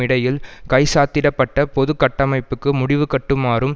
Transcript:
இடையில் கைச்சாத்திட பட்ட பொது கட்டமைப்புக்கு முடிவுகட்டுமாறும்